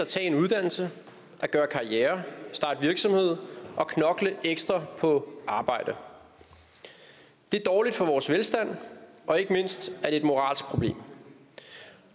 tage en uddannelse at gøre karriere starte virksomhed og knokle ekstra på arbejdet det er dårligt for vores velstand og ikke mindst er det et moralsk problem